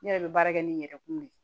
Ne yɛrɛ bɛ baara kɛ ni n yɛrɛ kun de ye